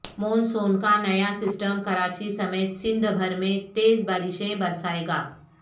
مون سون کا نیا سسٹم کراچی سمیت سندھ بھر میں تیز بارشیں برسائے گا